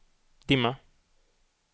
dimma